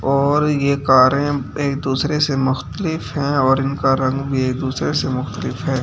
और ये कारें एक दूसरे से मुख्तलिफ हैऔर इनका रंग भी एक दूसरे से मुख्तलिफ है।